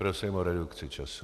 Prosím o redukci času.